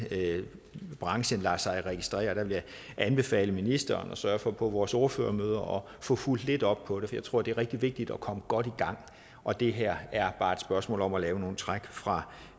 branchen lader sig registrere der vil jeg anbefale ministeren at sørge for på vores ordførermøder at få fulgt lidt op på det jeg tror det er rigtig vigtigt at komme godt i gang og det her er bare et spørgsmål om at lave nogle træk fra